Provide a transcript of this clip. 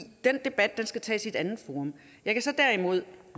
den debat skal tages i et andet forum jeg kan derimod